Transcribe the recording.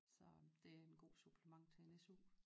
Så det en god supplement til en SU